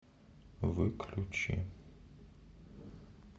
выключи